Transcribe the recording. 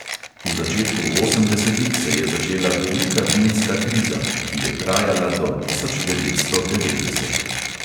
V začetku osemdesetih se je začela velika vinska kriza, ki je trajala do tisoč devetsto devetdeset.